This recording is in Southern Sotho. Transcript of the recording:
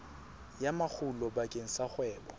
ya makgulo bakeng sa kgwebo